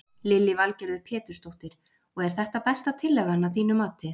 Lillý Valgerður Pétursdóttir: Og er þetta besta tillagan að þínu mati?